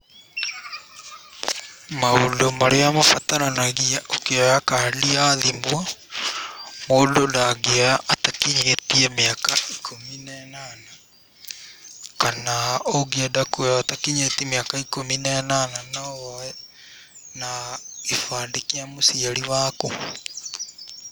Maũndũ marĩa mabataranagia ũkĩoya kandi ya thimu; mũndũ ndangĩoya atakinyĩtie mĩaka ikũmi na ĩnana kana ũngienda kuoya ũtakinyĩtie mĩaka ikũmi na ĩnana no woye na gĩbandĩ kĩa mũciari waku.